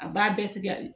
A b'a bɛɛ tigɛ de